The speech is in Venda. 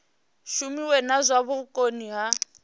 shumiwe na zwa vhukoni ha